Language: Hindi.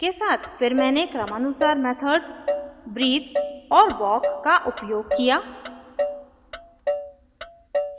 फिर मैंने क्रमानुसार मेथड्स breathe और walk का उपयोग किया